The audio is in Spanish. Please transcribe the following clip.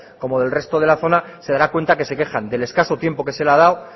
como del resto de la zona se dará cuenta de que se quejan del escaso tiempo que se le ha dado